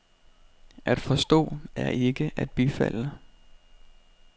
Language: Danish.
At forstå er ikke at bifalde.